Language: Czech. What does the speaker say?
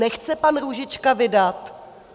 Nechce pan Růžička vydat?